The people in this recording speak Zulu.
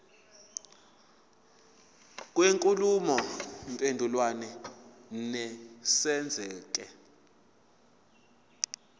kwenkulumo mpendulwano nesenzeko